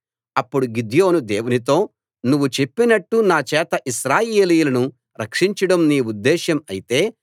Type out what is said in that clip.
అప్పుడు గిద్యోను దేవునితో నువ్వు చెప్పినట్టు నా చేత ఇశ్రాయేలీయులను రక్షించడం నీ ఉద్దేశ్యం అయితే